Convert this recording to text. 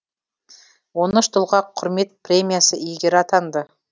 он үш тұлға құрмет премиясы иегері атанды